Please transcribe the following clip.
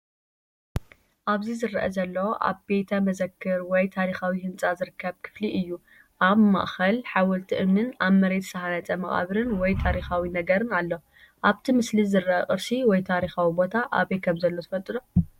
ኣብዚ ዝርአ ዘሎ ኣብ ቤተ መዘክር ወይ ታሪኻዊ ህንጻ ዝርከብ ክፍሊ እዩ። ኣብ ማእከል ሓወልቲ እምኒን ኣብ መሬት ዝተሃንጸ መቓብር ወይ ታሪኻዊ ነገርን ኣሎ። ኣብቲ ምስሊ ዝርአ ቅርሲ ወይ ታሪኻዊ ቦታ ኣበይ ከምዘሎ ትፈልጡ ዶ?